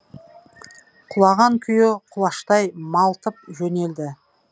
құлаған күйі құлаштай малтып жөнелді